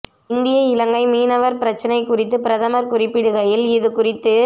இந்திய இலங்கை மீனவர் பிரச்சினை குறித்து பிரதமர் குறிப்பிடுகையில் இது குறித்து